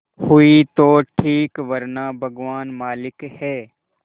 हुई तो ठीक वरना भगवान मालिक है